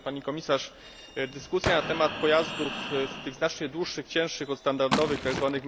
Pani Komisarz! Dyskusja na temat pojazdów tych znacznie dłuższych i cięższych od standardowych, tzw.